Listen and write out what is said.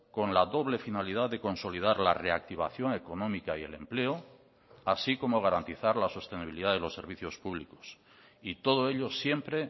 con la doble finalidad de consolidar la reactivación económica y el empleo así como garantizar la sostenibilidad de los servicios públicos y todo ello siempre